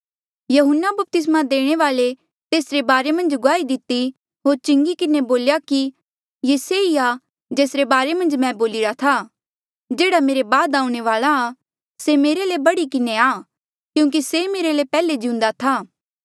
यहून्ना बपतिस्मा देणे वाल्ऐ तेसरे बारे मन्झ गुआही दिती होर चिंगी किन्हें बोल्या कि ये से ई आ जेसरे बारे मन्झ मैं बोलिरा था जेह्ड़ा मेरे बाद आऊणें वाल्आ आ से मेरे ले भी बढ़ी किन्हें आ क्यूंकि से मेरे ले पैहले जिउंदा था